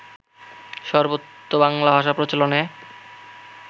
সর্বত্র বাংলাভাষা প্রচলনে